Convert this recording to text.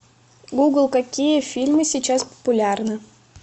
гугл какие фильмы сейчас популярны